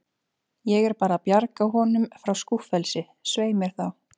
Ég er bara að bjarga honum frá skúffelsi, svei mér þá.